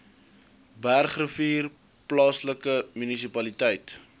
bergrivier plaaslike munisipaliteit